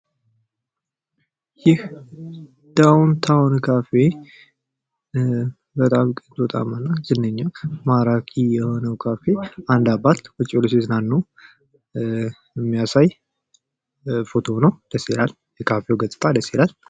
ይህ ዳውንታዉን ካፌ በጣም ቆንጆ እና ዝነኛው ማራኪ የሆነ ካፌ አንድ አባት ቁጭ ብለው ሲዝናኑ የሚያሳይ ፤ ደስ የሚል ካፌ ነው።